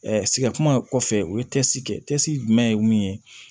sigɛriti kɔfɛ u ye kɛ jumɛn ye mun ye